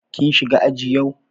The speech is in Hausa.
Ka shiga aji yau?